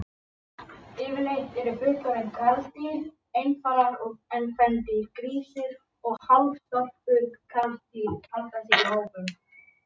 Yfirleitt eru fullorðin karldýr einfarar en kvendýr, grísir og hálfstálpuð karldýr, halda sig í hópum.